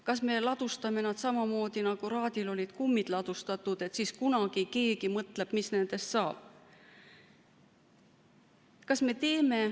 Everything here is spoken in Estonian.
Kas me ladustame neid samamoodi, nagu Raadil olid kummid ladustatud, et siis kunagi keegi mõtleb, mis nendest saab?